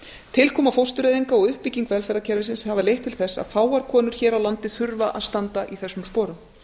tilkoma fóstureyðinga og uppbygging velferðarkerfisins hafa leitt til þess að fáar konur hér á landi þurfa að standa í þessum sporum